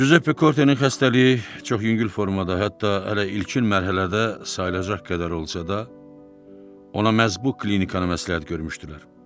Cüzəppe Kortenin xəstəliyi çox yüngül formada, hətta hələ ilkin mərhələdə sayılacaq qədər olsa da, ona məhz bu klinikanı məsləhət görmüşdülər.